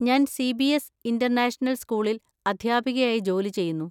ഞാൻ CBS international സ്കൂളിൽ അധ്യാപികയായി ജോലി ചെയ്യുന്നു.